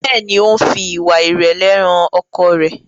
Béèni o ń fí ìwà irẹlẹ hàn ọkọ rẹ.